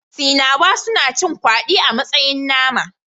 Sinawa suna cin kwadi a matsayin nama